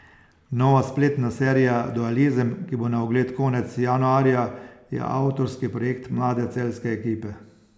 Nova spletna serija Dualizem, ki bo na ogled konec januarja, je avtorski projekt mlade celjske ekipe.